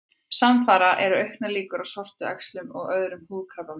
Samfara eru auknar líkur á sortuæxlum og öðrum húðkrabbameinum.